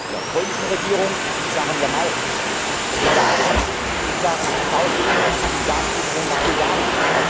Der polnischen Regierung in Sachen Jamal, der bulgarischen in Sachen South Stream und Gaslieferungen nach Bulgarien.